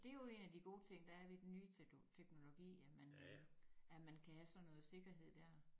Det jo en af de gode ting der er ved den nye tekno teknologi at man øh at man kan have sådan noget sikkerhed dér